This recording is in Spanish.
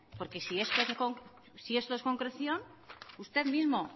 porque si esto es concreción usted mismo